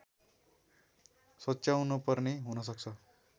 सच्याउन पर्ने हुनसक्छ